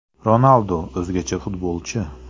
Ronaldu – o‘zgacha futbolchi.